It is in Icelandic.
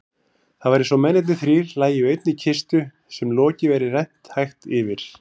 Það var einsog mennirnir þrír lægju í einni kistu sem loki væri rennt hægt yfir.